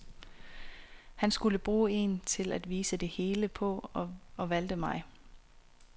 Han skulle bruge en til at vise det hele på og valgte mig.